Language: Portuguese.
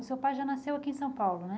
O seu pai já nasceu aqui em São Paulo, né?